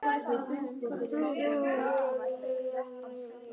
Þegar hvorki er hægt að flýja né berjast þá getur líkaminn frosið.